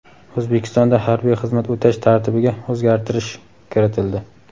O‘zbekistonda harbiy xizmat o‘tash tartibiga o‘zgartirish kiritildi.